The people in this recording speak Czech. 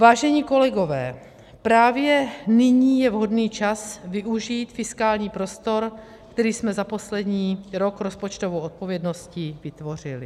Vážení kolegové, právě nyní je vhodný čas využít fiskální prostor, který jsme za poslední rok rozpočtovou odpovědností vytvořili.